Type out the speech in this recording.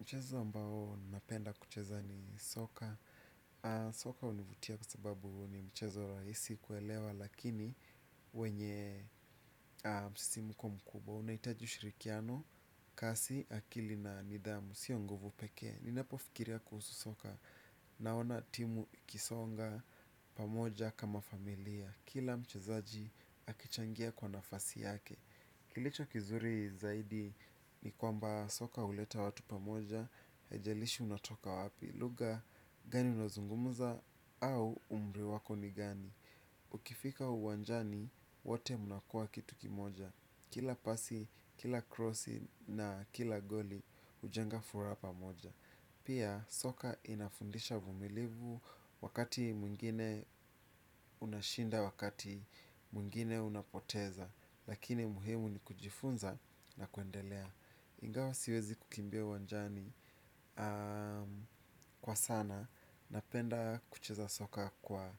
Mchezo ambao napenda kucheza ni soka. Soka hunivutia kwa sababu ni mchezo rahisi kuelewa. Lakini wenye msisimko mkubwa unahitaji ushirikiano, kasi, akili na nidhamu. Sio nguvu peke ninapofikiria kuhusu soka. Naona timu ikisonga pamoja kama familia. Kila mchezaji akichangia kwa nafasi yake. Kilicho kizuri zaidi ni kwamba soka huleta watu pamoja. Haijalishi unatoka wapi lugha gani unaozungumza au umri wako ni gani. Ukifika uwanjani wote mnakua kitu kimoja. Kila pasi, kila crossi na kila goli hujenga furaha pamoja. Pia soka inafundisha vumilivu. Wakati mwingine unashinda wakati mwingine unapoteza. Lakini muhimu ni kujifunza na kuendelea ingawa siwezi kukimbia uwanjani kwa sana napenda kucheza soka kwa